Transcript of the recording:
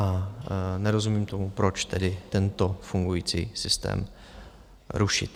A nerozumím tomu, proč tedy tento fungující systém rušit.